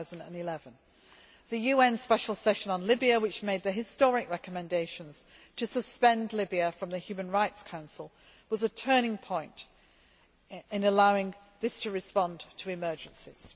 2011. The UN Special Session on Libya, which made the historic recommendations to suspend Libya from the Human Rights Council, was a turning point in allowing this to respond to emergencies.